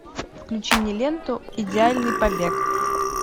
включи мне ленту идеальный побег